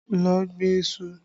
Lọ gbin iṣu!